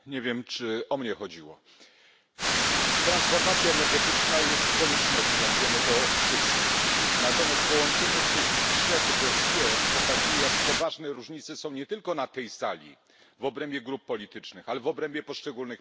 Pani Przewodnicząca! Transformacja energetyczna jest koniecznością, wiemy to wszyscy, natomiast połączenie tych trzech dossier pokazuje, jak poważne różnice są nie tylko na tej sali w obrębie grup politycznych, ale w obrębie poszczególnych państw.